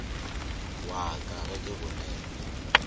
wa ka ge ke bolela